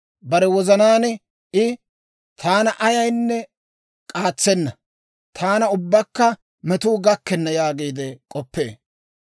Bare wozanaan I, «Taana ayaynne k'aatsenna. Taana ubbakka metuu gakkenna» yaagiide k'oppee.